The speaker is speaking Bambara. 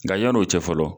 Nka yann'o cɛ fɔlɔ